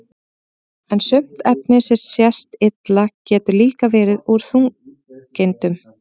en sumt efni sem sést illa getur líka verið úr þungeindum